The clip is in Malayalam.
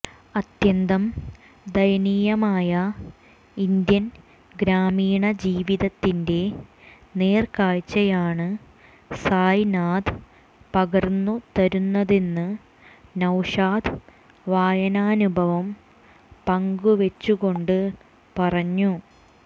അത്യന്തം ദയനീയമായ ഇന്ത്യൻ ഗ്രാമീണ ജീവിതത്തിന്റെ നേർക്കാഴ്ചയാണ് സായ് നാഥ് പകർന്നുതരുന്നതെന്ന് നൌഷാദ് വായനാനുഭവം പങ്കുവെച്ചുകൊണ്ട് പറഞ്ഞു